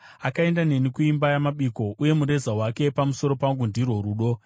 Akaenda neni kuimba yamabiko, uye mureza wake pamusoro pangu ndirwo rudo.